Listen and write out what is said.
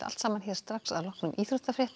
strax að loknum íþróttafréttum